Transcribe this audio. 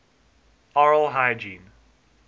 oral hygiene